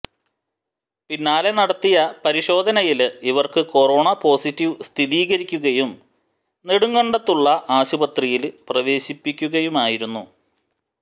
പിന്നാലെ നടത്തിയ പരിശോധനയില് ഇവര്ക്ക് കൊറോണ പോസിറ്റീവ് സ്ഥിരീകരിക്കുകയും നെടുങ്കണ്ടത്തുള്ള ആശുപത്രിയില് പ്രവേശിപ്പിക്കുകയുമായിരുന്നു